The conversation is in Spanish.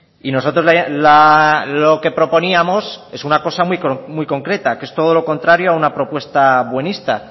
y nosotros lo que proponíamos es una cosa muy concreta que es todo lo contrario a una propuesta buenista